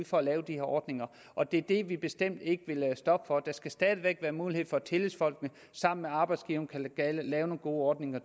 for at lave de her ordninger og det er det vi bestemt ikke vil stoppe for der skal stadig væk være mulighed for at tillidsfolkene sammen med arbejdsgiverne kan lave nogle gode ordninger